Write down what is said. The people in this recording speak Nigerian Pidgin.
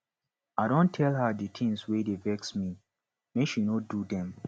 i don tell her di tins wey dey vex me make she no do dem